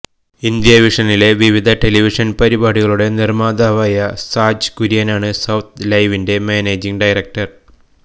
ഇന്ത്യാവിഷനിലെ വിവിധ ടെലിവിഷന് പരിപാടികളുടെ നിര്മാതാവായ സാജ് കുര്യനാണ് സൌത്ത് ലൈവിന്റെ മാനേജിങ് ഡയറക്ടര്